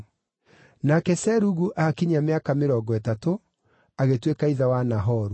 Nake Serugu aakinyia mĩaka mĩrongo ĩtatũ, agĩtuĩka ithe wa Nahoru.